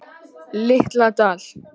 Litla Dal